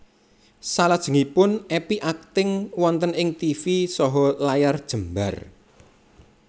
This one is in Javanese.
Salajengipun Epy akting wonten ing tivi saha layar jembar